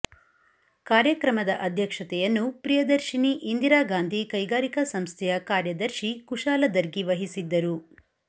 ಕಾರ್ಯಕ್ರಮದ ಅಧ್ಯಕ್ಷತೆಯನ್ನು ಪ್ರಿಯದರ್ಶಿನಿ ಇಂದಿರಾಗಾಂಧಿ ಕೈಗಾರಿಕಾ ಸಂಸ್ಥೆಯ ಕಾರ್ಯದರ್ಶಿ ಕುಶಾಲ ದರ್ಗಿ ವಹಿಸಿದ್ದರು